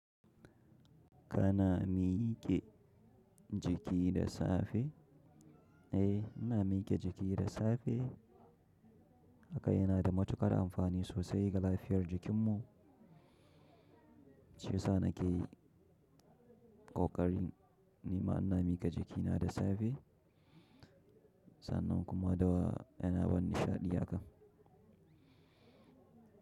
Kana mike jiki da safe? Eh, ina mike jiki da safe. Haka yana da matukar amfani sosai ga lafiyar jikin mu. Shiyasa nake yi ƙoƙarin ni ma ina miƙe jikina da safe sannan kuma da yana bani nishaɗi haka.